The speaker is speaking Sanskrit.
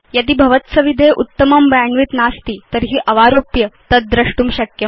यदि भवत्सविधे उत्तमं बैण्डविड्थ नास्ति तर्हि अवारोप्य तद् द्रष्टुं शक्यम्